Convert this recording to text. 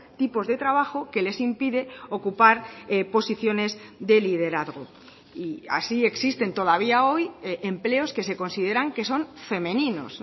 tipos de trabajo que les impide ocupar posiciones de liderazgo y así existen todavía hoy empleos que se consideran que son femeninos